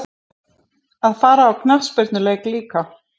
Að fara á knattspyrnuleik líka?